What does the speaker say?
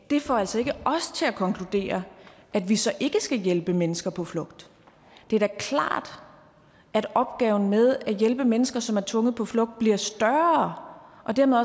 det får altså ikke os til at konkludere at vi så ikke skal hjælpe mennesker på flugt det er da klart at opgaven med at hjælpe mennesker som er tvunget på flugt bliver større og dermed